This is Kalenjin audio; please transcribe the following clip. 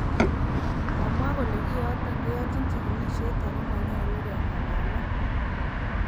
Komwa kole kiiyoton keyochin chigilisiet ago mololu kengalalen.